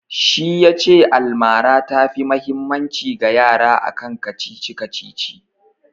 Shi ya ce almara ta fi mahimmanci ga yara akan kacici-kacici